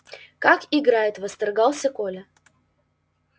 как играет восторгался коля